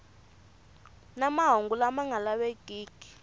na mahungu lama nga lavekiki